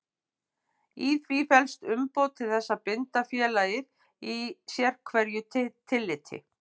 Í því felst umboð til þess að binda félagið í sérhverju tilliti.